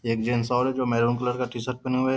एक जेंट्स और है जो मैरून कलर का टी-शर्ट पहने हुआ है ।